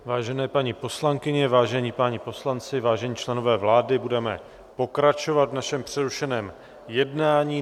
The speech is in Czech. Vážené paní poslankyně, vážení páni poslanci, vážení členové vlády, budeme pokračovat v našem přerušeném jednání.